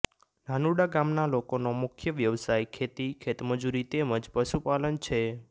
નાનુડા ગામના લોકોનો મુખ્ય વ્યવસાય ખેતી ખેતમજૂરી તેમ જ પશુપાલન છે